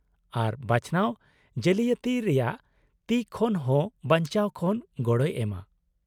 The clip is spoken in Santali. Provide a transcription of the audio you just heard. -ᱟᱨ ᱵᱟᱪᱷᱱᱟᱣ ᱡᱟᱞᱤᱭᱟᱛᱤ ᱨᱮᱭᱟᱜ ᱛᱤ ᱠᱷᱚᱱ ᱦᱚᱸ ᱵᱟᱧᱪᱟᱣ ᱠᱷᱚᱱ ᱜᱚᱲᱚᱭ ᱮᱢᱟ ᱾